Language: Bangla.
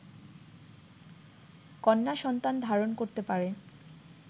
কন্যা-সন্তান ধারণ করতে পারে